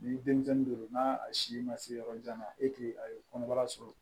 Ni denmisɛnnin don n'a si ma se yɔrɔ jan na a ye kɔnɔbara sɔrɔ